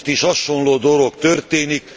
Most is hasonló dolog történik.